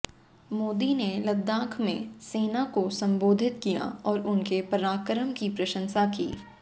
मोदी ने लद्दाख में सेना को संबोधित किया और उनके पराक्रम की प्रशंसा की